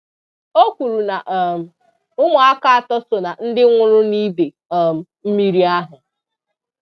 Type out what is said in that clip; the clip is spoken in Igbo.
O kwuru na um ụmụaka atọ so na ndị nwụrụ n'ide um mmiri ahụ.